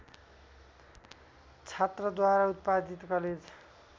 छात्रद्वारा उत्पादित कलेज